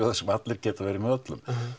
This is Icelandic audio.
þar sem allir geta verið með öllum